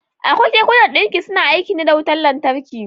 Akwai kekunan ɗinki suna aiki ne da wutan lantarki.